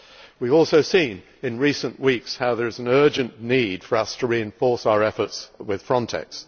We have also seen in recent weeks how there is an urgent need for us to reinforce our efforts with FRONTEX.